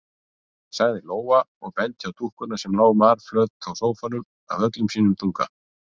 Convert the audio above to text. sagði Lóa og benti á dúkkuna sem lá marflöt á sófanum af öllum sínum þunga.